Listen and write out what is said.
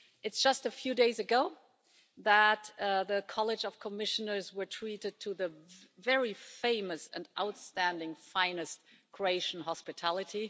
It's just a few days ago that the College of Commissioners were treated to the very famous and outstanding finest Croatian hospitality.